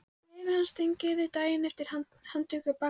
Bréfið barst Steingerði daginn eftir handtöku bakarans.